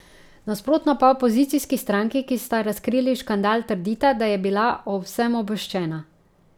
Nasprotno pa opozicijski stranki, ki sta razkrili škandal, trdita, da je bila o vsem obveščena.